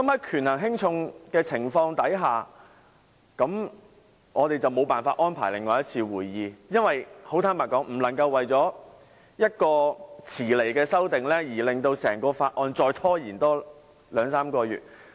權衡輕重之下，我們無法安排另一次會議，很坦白說，因為不能為了一項遲來的修訂而令整個審議程序再拖延兩三個月。